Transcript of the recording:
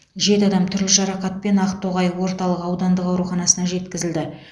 жеті адам түрлі жарақатпен ақтоғай орталық аудандық ауруханасына жеткізілді